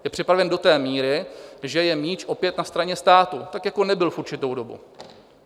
Je připraven do té míry, že je míč opět na straně státu, tak jako nebyl v určitou dobu.